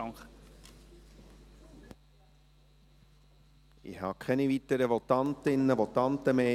Ich habe keine weiteren Votantinnen und Votanten mehr.